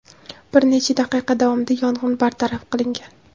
Bir necha daqiqa davomida yong‘in bartaraf qilingan.